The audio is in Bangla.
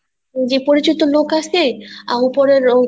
যে পরিচিত লোক আছে আহ উপরের